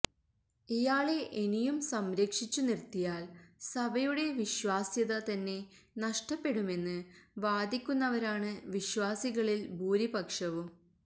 ഇയാളെ ഇനിയും സംരക്ഷിച്ചു നിർത്തിയാൽ സഭയുടെ വിശ്വാസ്യത തന്നെ നഷ്ടപ്പെടുമെന്ന് വാദിക്കുന്നവരാണ് വിശ്വാസികളിൽ ഭൂരിപക്ഷവും